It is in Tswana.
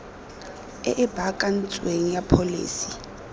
e e baakantsweng ya pholesi